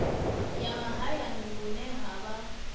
ya mahayani hune ha vha